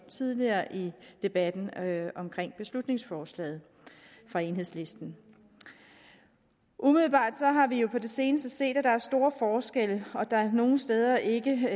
tidligere i debatten om beslutningsforslaget fra enhedslisten umiddelbart har vi jo på det seneste set at der er store forskelle og at der nogle steder ikke